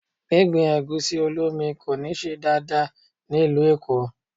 Gbígbin Ẹ̀gúsí-olómi kò ní ṣe dáadáa ní ìlú Èkó.